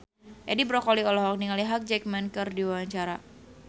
Edi Brokoli olohok ningali Hugh Jackman keur diwawancara